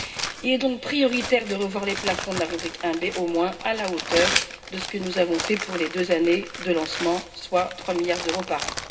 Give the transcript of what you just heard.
Il est donc prioritaire de revoir les plafonds de la rubrique 1B, au moins à la hauteur de ce que nous avons fait pour les deux années de lancement, soit 3 milliards d'euros par an.